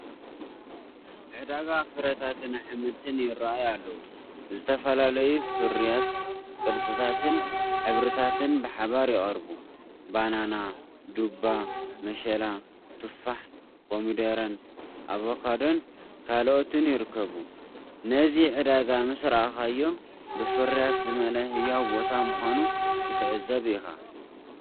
ዕዳጋ ፍረታትን ኣሕምልትን ይራኣዩ ኣለው፡፡ ዝተፈላለዩ ፍርያት፣ ቅርፅታትን ሕብርታትን ብሓባር ይቐርቡ። ባናና፡ ዱባ፡ መሸላ፡ ቱፋሕ፡ ኮሚደረ፡ ኣቮካዶን ካልእን ይርከብ። ነዚ ዕዳጋ ምስ ረኣኻዮ፡ ብፍርያት ዝመልአ ህያው ቦታ ምዃኑ ክትዕዘብ ኢኻ።